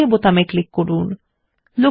এখন ওক বাটনে ক্লিক করুন